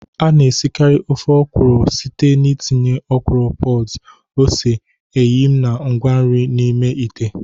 A na-esikarị ofe ọkwụrụ site n'ịtinye ọkwụrụ pods, ose, eyịm, na ngwa nri n'ime ite.